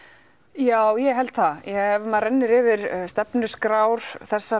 já ég held það ef maður rennir yfir stefnuskrár þessara